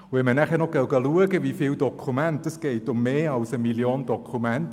Und wenn man nachher noch sieht, wie viele Dokumente – es geht um mehr als 1 Mio. Dokumente.